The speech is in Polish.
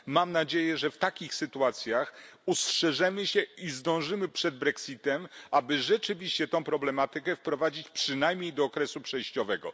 Mam nadzieję, że w takich sytuacjach ustrzeżemy się i zdążymy przed brexitem, aby rzeczywiście tę problematykę wprowadzić przynajmniej do okresu przejściowego.